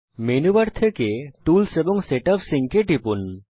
menu bar থেকে tools এবং set up sync এ টিপুন